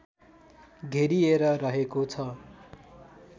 घेरिएर रहेको छ